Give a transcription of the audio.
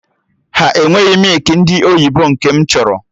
Ha enweghị mịkị ndị oyibo nke m chọrọ